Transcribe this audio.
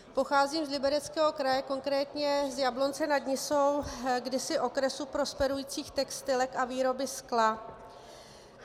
Pocházím z Libereckého kraje, konkrétně z Jablonce nad Nisou, kdysi okresu prosperujících textilek a výroby skla.